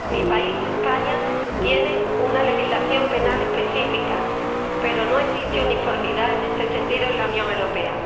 Mi país, España, tiene una legislación penal específica, pero no existe uniformidad en este sentido en la Unión Europea.